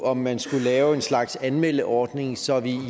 om man skulle lave en slags anmeldeordning så vi